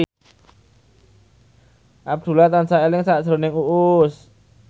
Abdullah tansah eling sakjroning Uus